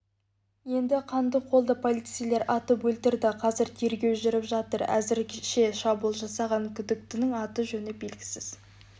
еді қандықолды полицейлер атып өлтірді қазір тергеу жүріп жатыр әзірге шабуыл жасаған күдіктінің аты-жөні белгісіз